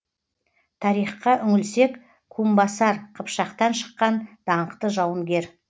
тарихқа үңілсек кумбасар қыпшақтан шыққан даңқты жауынгер